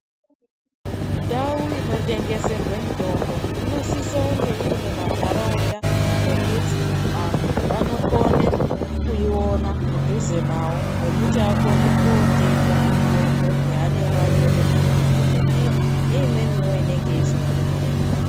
Ndau inotengeserwe mitombo inosisa kunge irimumantaraunda mwekuti anhu anokone kuiona mudhuze nawo mwekuti akone kotenga mitombo yavanenge anyorerwa ngemadhokodheya neimweniwo inenge isina kunyorerwa.